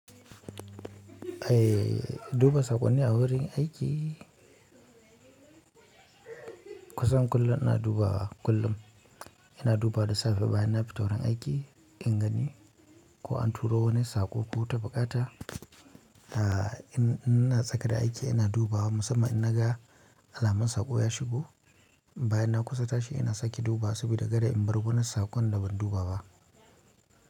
Eh, duba saƙonni a wurin aiki kusan kullum ina dubawa, kullum ina dubawa da safe bayan na fito wurin aiki in gani, ko an turo wani sako ko wata bukata, aa in ina saka da aiki ina dubawa musamman in naga alamon sako ya shigo bayan na kusa tashi ina sake dubawa, sabida kar in bar wurin sakon da ban duba ba.